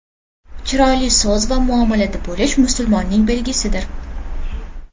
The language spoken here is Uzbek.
Chiroyli so‘z va muomalada bo‘lish musulmonning belgisidir.